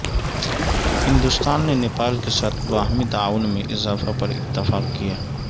ہندوستان نے نیپال کے ساتھ باہمی تعاون میں اضافہ پر اتفاق کیا